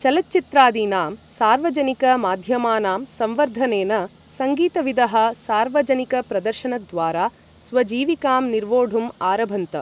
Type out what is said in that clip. चलचित्रादीनां सार्वजनिक माध्यमानां संवर्धनेन सङ्गीतविदः सार्वजनिकप्रदर्शनद्वारा स्वजीविकां निर्वोढुम् आरभन्त।